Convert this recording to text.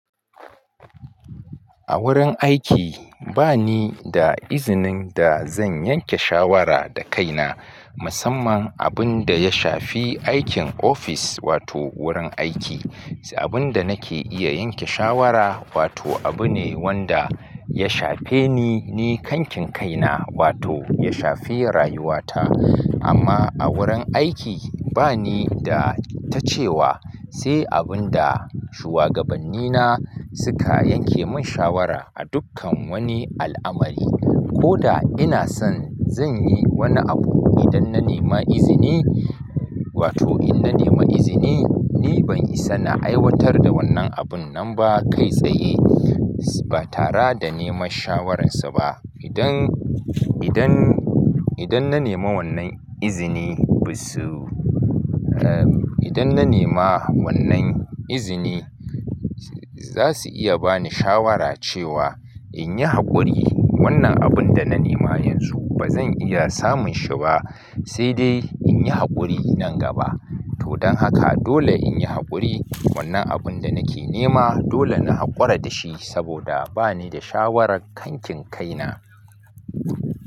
A wurin aiki ba ni da izinin da zan yanke shawara da kaina, musamman abun da ya shafi aikin office wato wurin aiki. Abun da nake iya yanke shawara wato abu ne wanda ya shafe ni, ni kankin kaina wato ya shafi rayuwata. Amma a wurin aiki ba ni da ta cewa sai abun da shuwagabannina suka yanke mun shawara a dukkan wani al'amari. Ko da ina san zan yi wani abu idan na nema izini wato in na nema izini, ni ban isa na aiwatar da wannan abun nan ba kai tsaye ba tara da neman shawarar su ba. Idan, idan, idan na nema wannan izini, busu. Eh, idan na nema wannan izini, za su iya bani shawara cewa in yi hakuri wannan abun da na nema yanzu ba zan iya samun shi ba, sai dai in yi hakuri nan gaba. Todan haka dole in yi hakuri wannan abun da nake nema dole na hakura da shi saboda ba ni da shawarar kankin kaina.